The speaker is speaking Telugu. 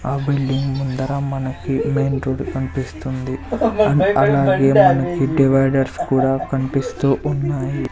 ఆ బిల్డింగ్ ముందర మనకి మైన్ రోడ్ కనిపిస్తుంది అలాగే మనకి డివైడర్స్ కూడా కనిపిస్తూ ఉన్నాయి.